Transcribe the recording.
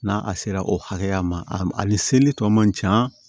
N'a sera o hakɛya ma a ni seli tɔ man can